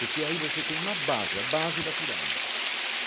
Porque aí você tem uma base, a base da pirâmide.